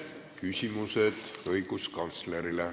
Küsimused õiguskantslerile.